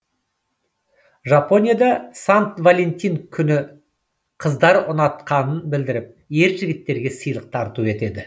жапонияда сант валентин күні қыздар ұнатқанын білдіріп ер жігіттерге сыйлық тарту етеді